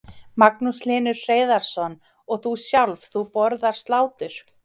Magnús Hlynur Hreiðarsson: Og þú sjálf, þú borðar slátur?